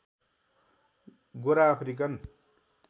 Gora African